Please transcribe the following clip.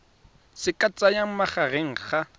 se ka tsayang magareng ga